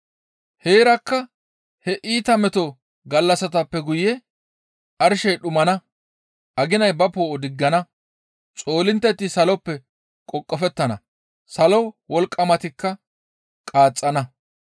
«Heerakka he iita meto gallassatappe guye arshey dhumana; aginay ba poo7o diggana; xoolintteti saloppe qoqofettana; salo wolqqamatikka qaaxxana.